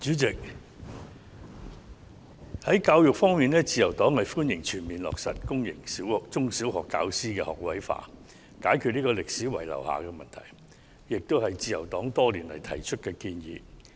主席，在教育方面，自由黨歡迎全面落實公營中、小學教師職位學位化，以解決歷史遺留的問題，這亦是自由黨多年來的建議。